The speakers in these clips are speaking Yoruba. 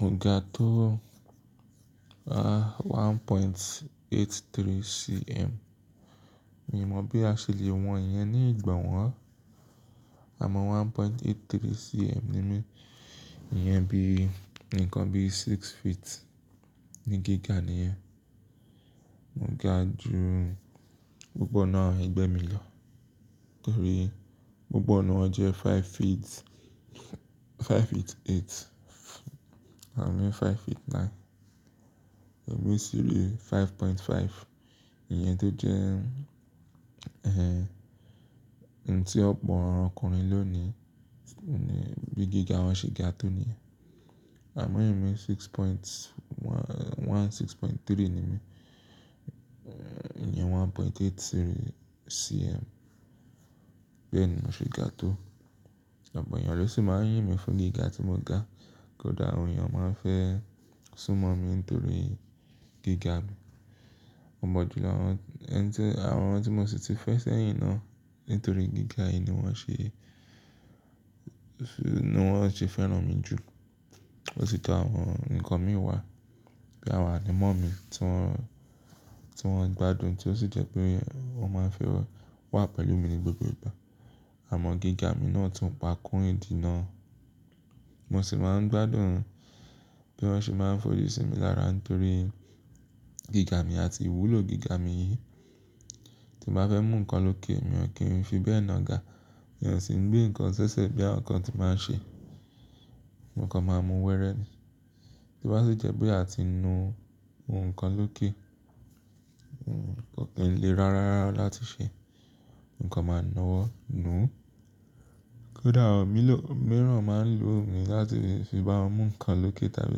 Mo ga tó ah 1.83 cm. Mi ò mọ̀ bí a ṣe lè wọn ìyẹn ní ìgbà wọ́n. Àmọ́ 1.83 cm ni mí. Ìyẹn bí, nǹkan bí six feet ni gíga ni ìyẹn. Mo ga ju gbogbo ọ̀nà ẹgbẹ́ mi lọ torí gbogbo ọ̀nà jẹ́ five feet, five feet eight abi five nine. Elomi sì re five five, ìyẹn tó jẹ́ ẹ́hẹ́n tí ọpọ ọkùnrin lónìí bí gíga wọ́n ṣe ga tó nìyẹn. Àmọ́ emi six one, six three ni mí. Ìyẹn 1.83 cm bẹẹ ni mo ṣe ga tó. Ọ̀pọ̀ ènìyàn ló sì máa ń yín mi fún gíga tí mo ga. Kódà àwọn ènìyàn máa ń fẹ́ súnmọ́ mi nítorí gíga mi. Ọ̀pọ̀jùlọ́ àwọn ẹni tí, àwọn ọmọ tí mo sì ti fẹ́ sẹ́yìn náà nítorí gíga yìí ni wọ́n ṣe, ni wọ́n ṣe fẹ́ràn mi jù. Èsì tọ àwọn nǹkan mi wà bí àwọn ànimọ́ mi tí wọ́n, tí wọ́n gbádùn tí ó sì jẹ́ pé wọ́n máa ń fẹ́ wà pẹ̀lú mi ní gbogbo ìgbà. Àmọ́ gíga mi náà tún pa kó ìdí náà. Mo sì máa ń gbádùn pé wọ́n ṣi máa ń fojú sí mi lára torí gíga mi àti ìwúlò gíga mi yìí. Tí mo bá fẹ́ mú ǹkan lókè, mi ò kí ń fi bẹ́ẹ̀ na ga. Mi ò sì ń gbé ǹkan s'ẹsẹ bí àwọn kan tí máa ń ṣe. Mo kan máa mú wẹrẹ́ ni. Tí o bá sì jẹ́ pé a ti nu ǹkan lókè, kii le rárá láti ṣe, ǹkan máa na wọ nú. Kódà àwọn mìíràn máa ń lo mi láti fi bá wọn mú ǹkan lókè tàbí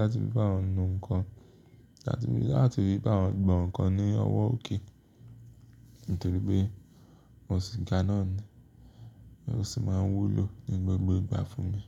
láti fi bá wọn nu ǹkan tàbí láti fi bá wọn gbọn ǹkan ní ọwọ́ òkè nítorí pé mo sì ga náà ni. Ó sì máa ń wúlò ní gbogbo ìgbà fún mi.